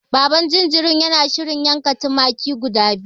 Baban jinjirin yana shirin yanka tumaki guda biyu.